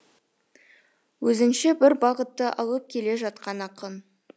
өзінше бір бағытты алып келе жатқан ақын